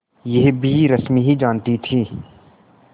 यह भी रश्मि ही जानती थी